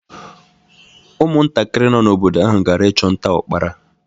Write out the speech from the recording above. Ụmụntakịrị nọ n’obodo ahụ gara ichu nta ukpara.